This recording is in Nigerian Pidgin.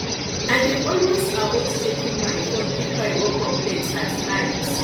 i dey always avoid checking my phone if i wake up late at night